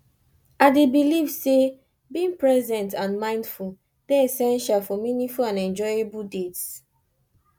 i dey believe say being present and mindful dey essential for meaningful and enjoyable dates